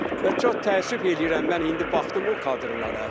Və çox təəssüf eləyirəm mən indi baxdım o kadrlara.